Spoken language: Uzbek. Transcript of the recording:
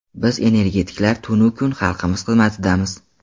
Biz energetiklar tun-u kun xalqimiz xizmatidamiz.